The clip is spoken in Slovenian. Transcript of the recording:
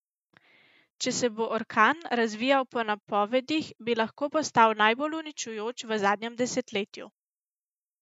Če se bo orkan razvijal po napovedih bi lahko postal najbolj uničujoč v zadnjem desetletju.